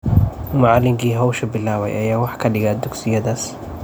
Macallinkii hawsha bilaabay ayaa wax ka dhiga dugsiyadaas.